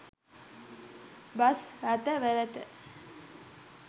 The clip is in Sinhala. බස් රථවලට